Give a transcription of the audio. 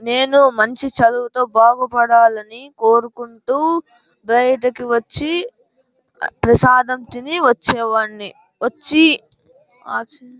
నేను మంచి చదువుతో బాగుపడాలని కోరుకుంటూ బయటకు వచ్చి ఆ ప్రసాదం తిని వచ్చేవాణ్ణి. వచ్చి --